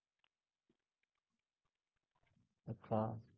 अच्छा